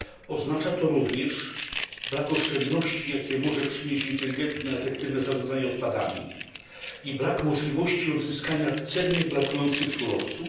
Oznacza to również brak oszczędności, jakie może przynieść inteligentne i efektywne zarządzanie odpadami, oraz brak możliwości odzyskania cennych brakujących surowców.